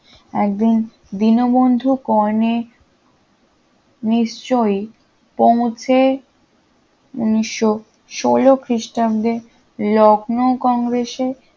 একদিন দিনবন্ধু কর্ণে নিশ্চয়ই পৌঁছে উনিশশো ষোল খ্রিস্টাব্দে লখনউ কংগ্রেসের